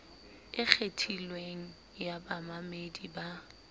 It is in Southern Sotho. e kgethilweng ya bamamedi ba